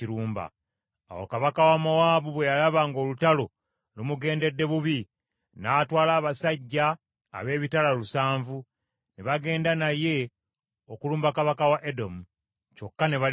Awo kabaka wa Mowaabu bwe yalaba ng’olutalo lumugendedde bubi, n’atwala abasajja ab’ebitala lusanvu, ne bagenda naye okulumba kabaka wa Edomu, kyokka ne balemelerwa.